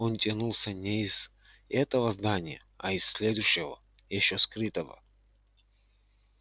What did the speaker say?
он тянулся не из этого здания а из следующего ещё скрытого